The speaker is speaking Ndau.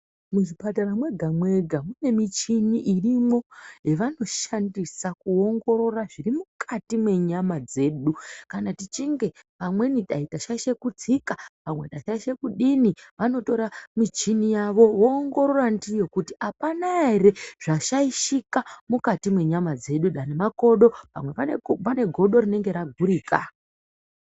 Muzvipatara mwega-mwega mune muchini irimwo yavanoshandisa kuongorora zviri mukati mwenyama dzedu kana tichinge pamweni dai ndashaisha kutsika, pamwe ndashaisha kudini . Vanotora muchini yavo voongorora ndiyo kuti apana ere zvashaishika mukati mwenyama dzedu , pamwe makodo ,pamwe pane godo rinenge ragurika.